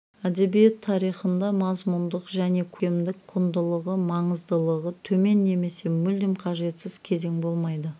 әдебиет тарихында мазмұндық және көркемдік құндылығы маңыздылығы төмен немесе мүлдем қажетсіз кезең болмайды